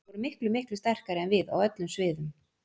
Þeir voru miklu, miklu sterkari en við á öllum sviðum.